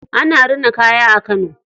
Ana rina kaya a Kano.